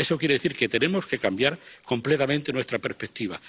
Eso quiere decir que tenemos que cambiar completamente nuestra perspectiva.